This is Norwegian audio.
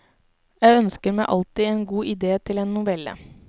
Jeg ønsker meg alltid en god idé til en novelle.